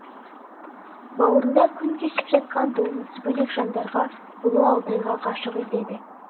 бауырында күн кешіп жатқан болмысы бөлек жандарға ұлы алтайға ғашық етеді